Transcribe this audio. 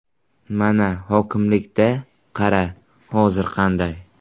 Mana, hokimlikda, qara hozir qanday?